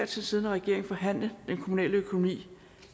tid siddende regering forhandle den kommunale økonomi